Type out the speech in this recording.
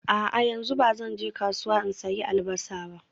A'a, yanzu ba zan je kasuwa in sayi Albasa ba